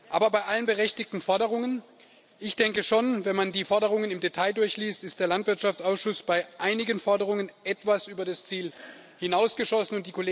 Aber bei allen berechtigten Forderungen ich denke schon, wenn man die Forderungen im Detail durchliest, ist der Landwirtschaftsausschuss bei einigen Forderungen etwas über das Ziel hinausgeschossen.